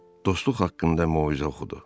Dostluq haqqında moizə oxudu.